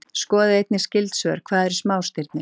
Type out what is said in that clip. Skoðið einnig skyld svör: Hvað eru smástirni?